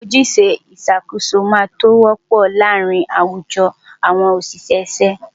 Ojúṣe ìṣàkóso máa tó wọ́pọ̀ láàárín àwùjọ àwọn ṣiṣẹ́ ṣíṣe.